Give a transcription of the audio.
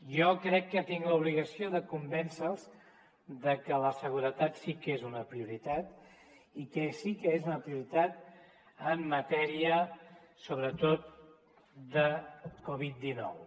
jo crec que tinc l’obligació de convèncer los de que la seguretat sí que és una prioritat i que sí que és una prioritat en matèria sobretot de covid dinou